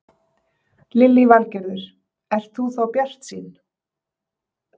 Lillý Valgerður: Ert þú bjartsýn?